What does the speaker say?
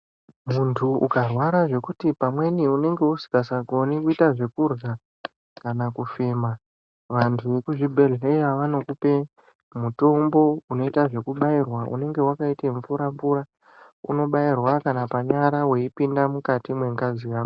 Muntu ukarwara zvekuti pamweni unenge usisagoni kuita zvekurya kana kufema, vantu vemuzvibhedhlera vanokupa mutombo unoita zvekubairwa unenge wakaita mvura mvura, unobairwa kana panyara uipinda mukati mengazi yako.